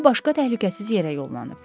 Ya başqa təhlükəsiz yerə yollanıb.